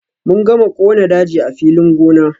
Mun gama kona daji a filin gona.